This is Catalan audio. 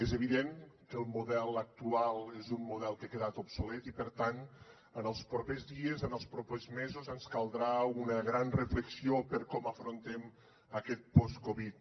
és evident que el model actual és un model que ha quedat obsolet i per tant en els propers dies en els propers mesos ens caldrà una gran reflexió sobre com afrontem aquest post covid